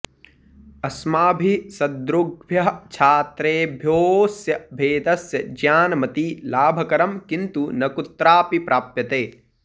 अस्माभिः सदृग्भ्यः छात्रेभ्योऽस्य भेदस्य ज्ञानमति लाभकरं किन्तु न कुत्रापि प्राप्यते